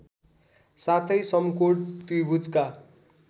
साथै समकोण त्रिभुजका